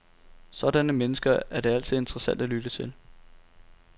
Sådanne mennesker er det altid interessant at lytte til.